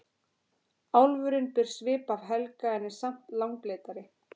Álfurinn ber svip af Helga en er samt langleitari.